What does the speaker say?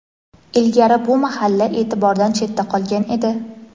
Ilgari bu mahalla e’tibordan chetda qolgan edi.